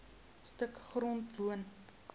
stuk grond woon